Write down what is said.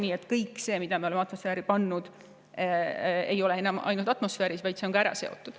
Nii et kõik see, mida me oleme atmosfääri heitnud, ei ole enam ainult atmosfääris, vaid see on ka ära seotud.